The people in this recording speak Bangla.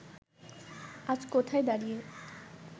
আজ কোথায় দাঁড়িয়ে